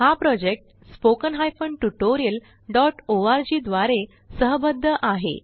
हा project spoken ट्यूटोरियलorg द्वारे सहबद्ध आहे